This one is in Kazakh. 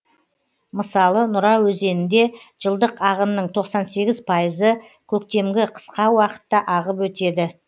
мысалы нұра өзенінде жылдық ағынның тоқсан сегіз пайызы көктемгі қысқа уақытта ағып өтеді